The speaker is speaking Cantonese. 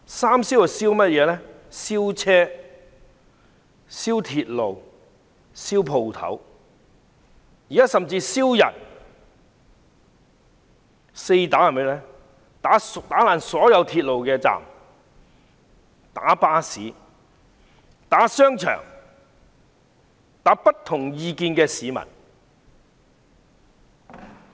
"三燒"即燒車、燒鐵路及燒店鋪，現在甚至燒人，而"四打"則是打破所有鐵路的閘門、打巴士、打商場及打不同意見的市民。